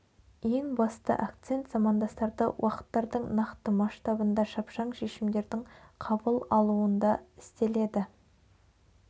ең басты акцент замандастарды уақыттардың нақты масштабында шапшаң шешімдердің қабыл алуында істеледі